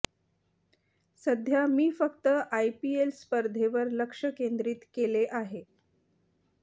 सध्या मी फक्त आयपीएल स्पर्धेवर लक्ष केंद्रीत केले आहे